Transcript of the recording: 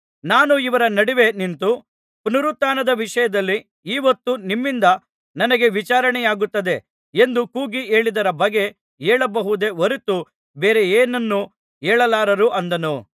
ನಾನು ಇವರ ನಡುವೆ ನಿಂತು ಪುನರುತ್ಥಾನದ ವಿಷಯದಲ್ಲಿ ಈಹೊತ್ತು ನಿಮ್ಮಿಂದ ನನಗೆ ವಿಚಾರಣೆಯಾಗುತ್ತದೆ ಎಂದು ಕೂಗಿ ಹೇಳಿದರ ಬಗ್ಗೆ ಹೇಳಬಹುದೇ ಹೊರತು ಬೇರೆ ಏನನ್ನೂ ಹೇಳಲಾರರು ಅಂದನು